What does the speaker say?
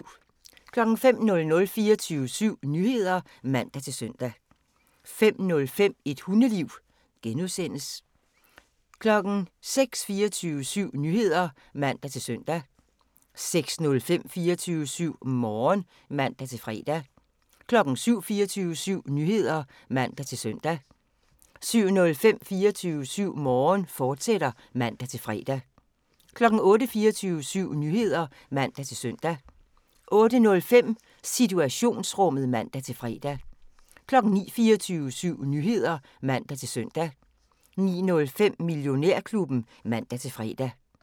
05:00: 24syv Nyheder (man-søn) 05:05: Et Hundeliv (G) 06:00: 24syv Nyheder (man-søn) 06:05: 24syv Morgen (man-fre) 07:00: 24syv Nyheder (man-søn) 07:05: 24syv Morgen, fortsat (man-fre) 08:00: 24syv Nyheder (man-søn) 08:05: Situationsrummet (man-fre) 09:00: 24syv Nyheder (man-søn) 09:05: Millionærklubben (man-fre)